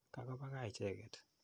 Kako pa kaa icheket.